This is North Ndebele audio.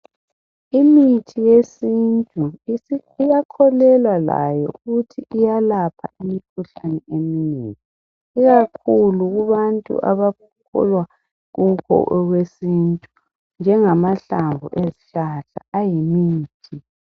Imithi yesintu iyakholelwa layo ukuthi iyalapha imkhuhlane eminye, ikakhulu kubantu abakholwa kubo abesintu njengamahlamvu ezihlahla ayimithi.